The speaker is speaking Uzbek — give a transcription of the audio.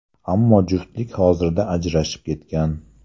Ammo juftlik hozirda ajrashib ketgan.